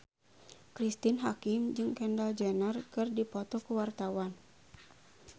Cristine Hakim jeung Kendall Jenner keur dipoto ku wartawan